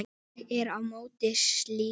Ég er á móti slíku.